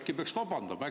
Äkki peaks vabandama?